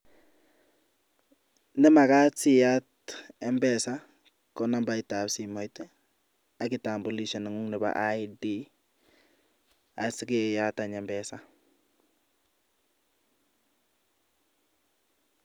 Nemakat siyaat mpesa konambaitab simoit i,kitambulisho nengung nebo ID, asikeyaat any mpesa.